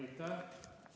Aitäh!